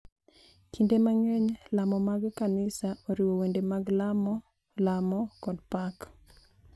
Kinde mang’eny, lamo mag kanisa oriwo wende mag lamo, lamo, kod pak, .